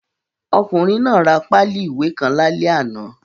Ọkùnrin náà ra páálì ìwé kan lálẹ́ àná.